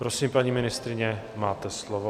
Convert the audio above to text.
Prosím, paní ministryně, máte slovo.